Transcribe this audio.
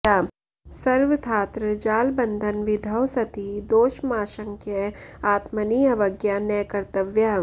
सर्वथात्र जालबन्धनविधौ सति दोषमाशङ्क्य आत्मनि अवज्ञा न कर्तव्या